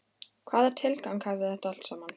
Hvaða tilgang hafði þetta allt saman?